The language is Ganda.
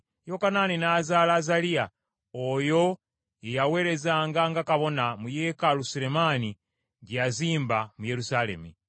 Yokanaani n’azaala Azaliya (oyo ye yaweerezanga nga kabona mu yeekaalu sulemaani gye yazimba mu Yerusaalemi);